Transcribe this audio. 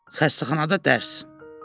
Xəstəxanada dərs.